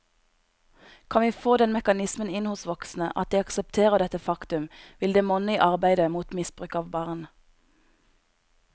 Kan vi få den mekanismen inn hos voksne, at de aksepterer dette faktum, vil det monne i arbeidet mot misbruk av barn.